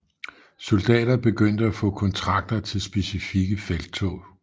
Soldater begyndte at få kontrakter til specifikke felttog